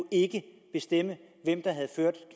bestemme hvem der havde ført